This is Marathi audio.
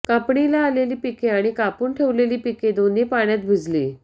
कापणीला आलेली पिके आणि कापून ठेवलेली पिके दोन्ही पाण्यात भिजली